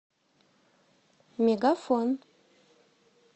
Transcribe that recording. мегафон